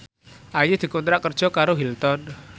Ayu dikontrak kerja karo Hilton